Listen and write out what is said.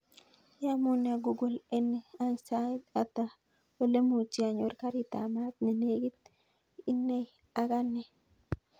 Iamune google any sait ata ole muchi anyor karit ap maat ne negit inei ak anee